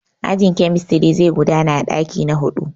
Ajin kemistiri zai gudana a ɗaki na huɗu.